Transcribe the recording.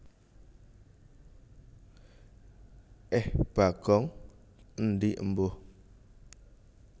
Eh Bagong endi Embuh